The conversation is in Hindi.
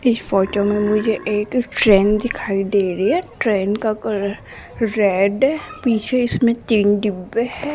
इस फोटो में मुझे एक ट्रेन दिखाई दे रही है ट्रेन का कलर रेड पीछे इसमें तीन डिब्बे है।